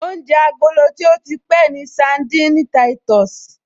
Oúnjẹ agolo tí ó ti pẹ́ ni sandini táìtọ̀sì